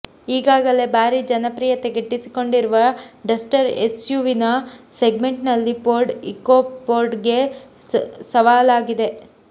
ಈಗಾಗಲೇ ಭಾರಿ ಜನಪ್ರಿಯತೆ ಗಿಟ್ಟಿಸಿಕೊಂಡಿರುವ ಡಸ್ಟರ್ ಎಸ್ಯುವಿ ಸೆಗ್ಮೆಂಟ್ನಲ್ಲಿ ಫೋರ್ಡ್ ಇಕೊಫೋರ್ಡ್ಗೆ ಸವಾಲಾಗಲಿದೆ